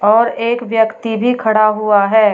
और एक व्यक्ति भी खड़ा हुआ है।